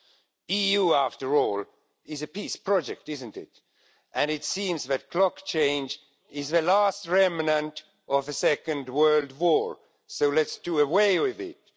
The EU after all is a peace project isn't it? It seems that clock change is the last remnant of the Second World War, so let's do away with it.